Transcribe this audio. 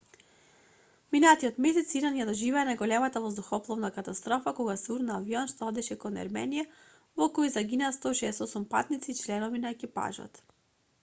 минатиот месец иран ја доживеа најголемата воздухопловна катастрофа кога се урна авион што одеше кон ерменија во кој загинаа 168 патници и членови на екипажот